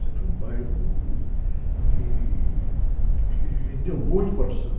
Sempre foi um bairro que, que rendeu muito para o samba.